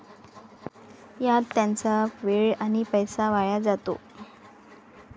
यात त्यांचा वेळ आणि पैसा वाया जातो.